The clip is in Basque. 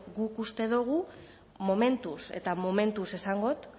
guk uste dugu momentuz eta momentuz esango dut